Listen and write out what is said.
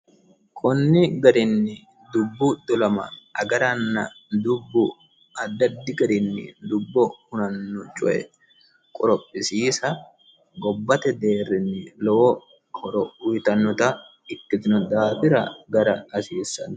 konni garinni dubbu dolama agaranna dubbu addi addi garinni dubbo hunanno coye qorophisiisa gobbata deerrinni lowo horo uyiitannota ikkitino daafira agara hasiissanno.